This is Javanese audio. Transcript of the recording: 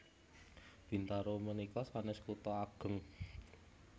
Bintaro menika sanes kuto ageng